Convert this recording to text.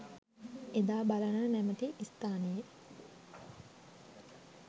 එදා බලන නැමති ස්ථානයේ